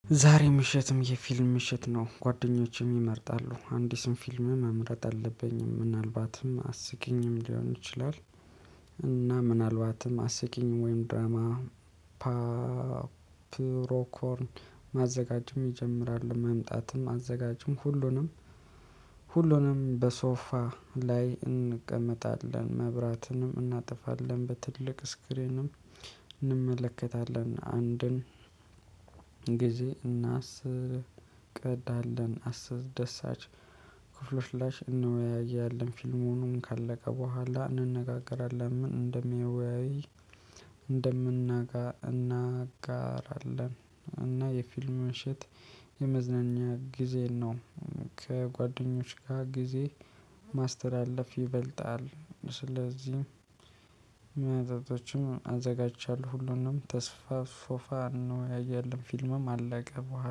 ዛሬ ምሽትም የፊልም ምሽት ነው ጓደኞቼም ይመርጣሉ አንድ ስንት ፊልም መምረጥ አለብኝም ምናልባትም አስቂኝም ሊሆን ይችላል እና ምናልባትም አስቂኝ ወይም ድራማ ፓፕሮኮርን ማዘጋጅም ይጀምራል መምጣትም አዘጋጁም ሁሉንም ሁሉንም በሶፋ ላይ እንቀመጣለን መብራትንም እናጠፋለን በትልቅ ስክሪንም እንመለከታለን አንድን ጊዜ እናስቀዳለን አስደሳች ክፍሎች ላሽ እንወያያለን። ፊልሙን ካለቀ በኋላ እንነጋገራለን ምን እንደሚያየው እንደምናጋ እናጋራለን እና የፊልም ምሽት የመዝናኛ ጊዜ ነው። ከጓደኞች ጋር ጊዜ ማስተላለፍ ይበልጣል። ስለዚህ መጠጦችም አዘጋጅቻለሁ። ሁሉንም ተስፋ ፋፋ ነው ኦንወያያለንአለን ፊልምም አለቀ በኋላ